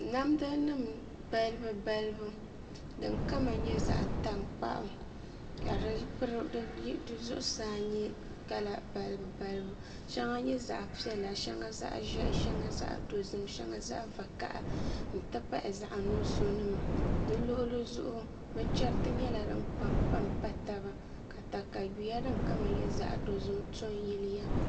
Namda nim balibu balibu din kama nyɛ zaɣ tankpaɣu ka di zuɣusaa nyɛ kala balibu shɛŋa nyɛla zaɣ piɛla shɛŋa zaɣ ʒiɛhi shɛŋa zaɣ dozim shɛŋa zaɣ vakaɣa n ti pahi zaɣ nuɣso nima bi luɣuli zuɣu binchɛriti nyɛla din kpabi kpabi pa taba ka katawiya din kama nyɛ zaɣ dozim to n yiliya